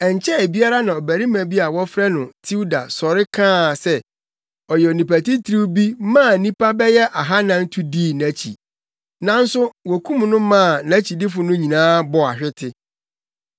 Ɛnkyɛe biara na ɔbarima bi a wɔfrɛ no Teuda sɔre kaa se ɔyɛ onipa titiriw bi maa nnipa bɛyɛ ahannan tu dii nʼakyi. Nanso wokum no maa nʼakyidifo no nyinaa bɔɔ ahwete.